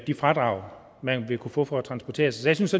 de fradrag man vil kunne få for at transportere sig jeg synes